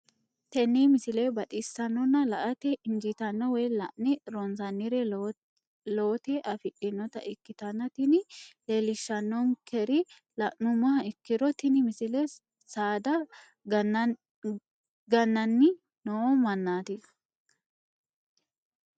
tenne misile baxisannonna la"ate injiitanno woy la'ne ronsannire lowote afidhinota ikkitanna tini leellishshannonkeri la'nummoha ikkiro tini misile saada ga'nanni noo mannaati.